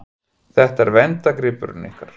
Þetta er verndargripurinn ykkar?